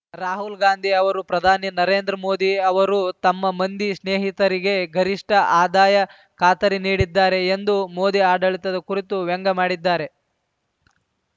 ರಾಹುಲ್‌ ಗಾಂಧಿ ಅವರು ಪ್ರಧಾನಿ ನರೇಂದ್ರ ಮೋದಿ ಅವರು ತಮ್ಮ ಮಂದಿ ಸ್ನೇಹಿತರಿಗೆ ಗರಿಷ್ಠ ಆದಾಯ ಖಾತರಿ ನೀಡಿದ್ದಾರೆ ಎಂದು ಮೋದಿ ಆಡಳಿತದ ಕುರಿತು ವ್ಯಂಗ್ಯಮಾಡಿದ್ದಾರೆ